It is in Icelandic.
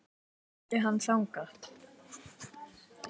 Þá flutti hann þangað.